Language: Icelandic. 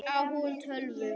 Á hún tölvu?